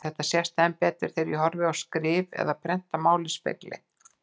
Þetta sést enn betur þegar ég horfi á skrift eða prentað mál í spegli.